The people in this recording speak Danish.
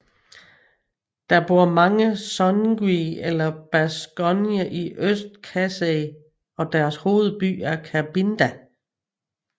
Der bor mange Songye eller Basonge i Øst Kasaï og deres hovedby er Kabinda